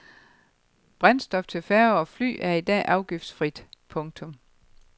Brændstof til færger og fly er i dag afgiftsfrit. punktum